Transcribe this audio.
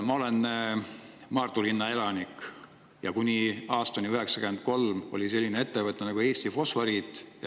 Ma olen Maardu linna elanik ja kuni aastani 1993 oli selline ettevõte nagu Eesti Fosforiit.